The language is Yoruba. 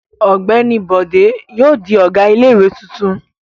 Ọ̀gbẹ́ni Bọ̀dé yóò di ọ̀gá ilé-ìwé tuntun.